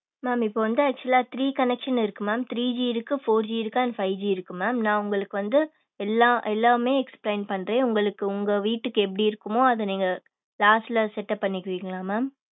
Ma'am இப்ப வந்து actual லா three connection இருக்கு ma'am three G இருக்கு four G இருக்கு and five G இருக்கு ma'am நான் வந்து உங்களுக்கு எல்லா எல்லாமே explain பண்றேன். உங்களுக்கு உங்க வீட்டுக்கு எப்படி இருக்குமோ அதை நீங்க last ல set up பண்ணிப்பீகளா ma'am?